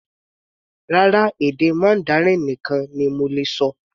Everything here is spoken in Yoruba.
Rárá, èdè Mandarin nìkan ni mo lè ṣọ.